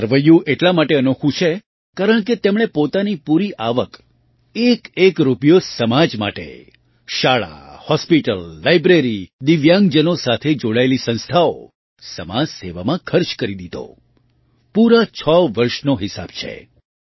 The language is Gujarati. આ સરવૈયું એટલા માટે અનોખું છે કારણકે તેમણે પોતાની પૂરી આવક એકએક રૂપિયો સમાજ માટે શાળા હૉસ્પિટલ લાઇબ્રેરી દિવ્યાંગજનો સાથે જોડાયેલી સંસ્થાઓ સમાજસેવામાં ખર્ચ કરી દીધો પૂરાં છ વર્ષનો હિસાબ છે